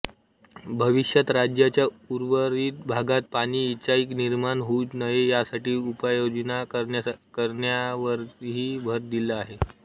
भविष्यात राज्याच्या उर्वरित भागात पाणी टंचाई निर्माण होऊ नये यासाठी उपाययोजना करण्यावरही भर दिला आहे